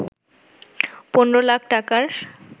১৫ লাখ টাকার